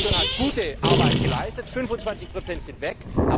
Die Kommission hat gute Arbeit geleistet, 25 sind weg.